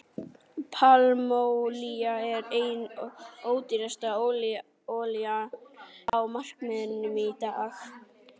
Pálmaolía er ein ódýrasta olían á markaðinum í dag.